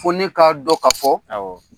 Ko ne k'a dɔn ka fɔ,